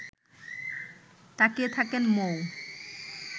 তাকিয়ে থাকেন মৌ